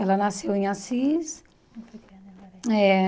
Ela nasceu em Assis eh.